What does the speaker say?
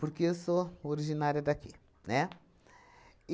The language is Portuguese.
Porque eu sou originária daqui, né?